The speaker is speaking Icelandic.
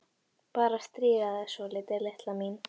Bara að stríða þér svolítið, litla mín.